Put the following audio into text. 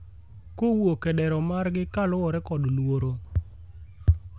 kowuok e dero margi kuluwore kod luoro